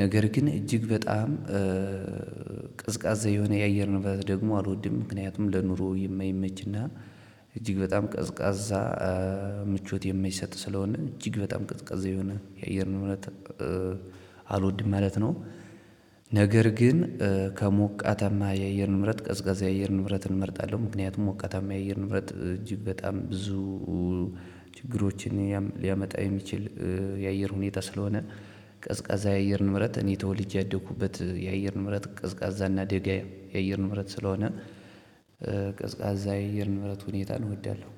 ነገር ግን እጅግ በጣም እእ ቀዝቃዛ የሆነ የአየር ንብረት ደግሞ አልወድም ምክንያቱም ለኑሮ የማይመችና። እጅግ በጣም ቀዝቃዛ ምቾት የማይሰጥ ስለሆነ እጅግ በጣም ቀዝቃዛ ከሆነ የአየርን ንብረት አልወድም ማለት ነው። ነገር ግን ከሞቃተማ የእየር ንብረት ቀዝቃዛ የእየር ንብረት እመርጣለሁ። ምክንያቱም ሞቃተማ የአየር ንብረት እጅግ በጣም ብዙ ችግሮችን ሊያመጣ የሚችል የአየር ሁኔታ ስለሆነ። ቀዝቃዛ የአየርን ንብረት እኔ ተወልጄ ያደኩበት የአየርን ንብረት ቀዝቃዛ እና ደጋ የአየር ንብረት ስለሆነ። ቀዝቃዛ የአየር ንብረት ሁኔታን እወዳለሁ።